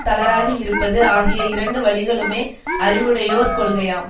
தளராது இருப்பது ஆகிய இரண்டு வழிகளுமே அறிவுடையோர் கொள்கையாம்